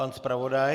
Pan zpravodaj.